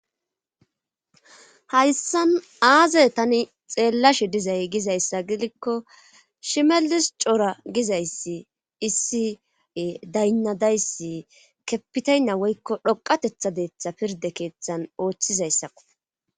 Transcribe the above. Hayssan aaze tani xeellashi dizay giza issa gidikko shimelis cora giza issi issi daynna day issi kepitaynna woykko xoqatetha deetha pirde keeththan ooththiza issakko.